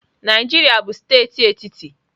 Naijiria bụ steeti etiti.